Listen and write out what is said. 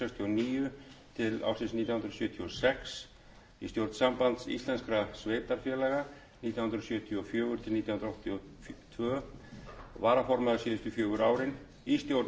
og sex í stjórn sambands íslenskra sveitarfélaga nítján hundruð sjötíu og fjögur til nítján hundruð áttatíu og tvö varaformaður síðustu fjögur árin í stjórn hafnasambands sveitarfélaga nítján hundruð sextíu og